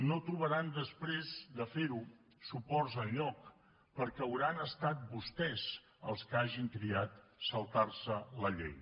no trobaran després de fer ho suports enlloc perquè hauran estat vostès els que hagin triat saltar se la llei